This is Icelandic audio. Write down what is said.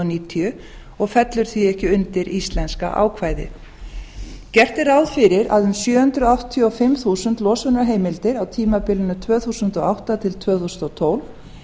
níutíu og fellur því ekki undir íslenska ákvæðið gert er ráð fyrir að um sjö hundruð áttatíu og fimm þúsund losunarheimildir á tímabilinu tvö þúsund og átta til tvö þúsund og tólf